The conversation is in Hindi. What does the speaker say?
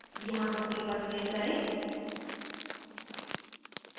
यहाँ ok पर क्लिक करें